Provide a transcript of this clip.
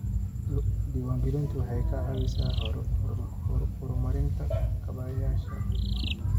Diiwaangelintu waxay ka caawisaa horumarinta kaabayaasha.